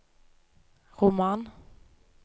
roman